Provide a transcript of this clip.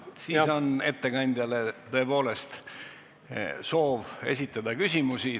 Siis on tõepoolest soov esitada ettekandjale küsimusi.